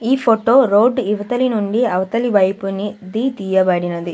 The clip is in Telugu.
ఈ ఫొటో రోడ్డు ఇవితలి నుండి అవతలి వైపుని ది తీయబడినది.